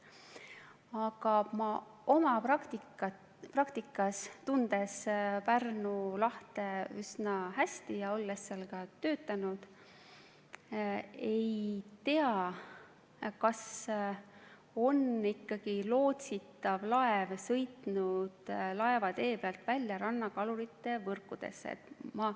Aga ma tunnen oma praktikast Pärnu lahte üsna hästi ja olles seal ka töötanud, ma ei tea, kas tõesti lootsitav laev on sõitnud laevatee pealt välja rannakalurite võrkudesse.